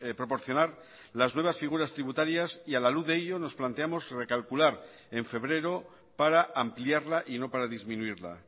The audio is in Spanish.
proporcionar las nuevas figuras tributarias y a la luz de ello nos planteamos recalcular en febrero para ampliarla y no para disminuirla